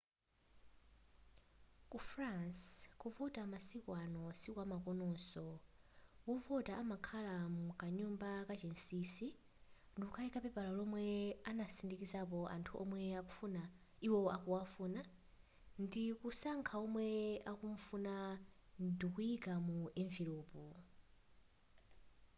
ku france kuvota masiku ano sikwamakononso : wovota amakakhala mkanyumba kachinsinsi ndikuika papela lomwe anasindikizapo anthu womwe iwo akuwafuna ndikusankha omwe akumufuna ndikuyika mu enivelopu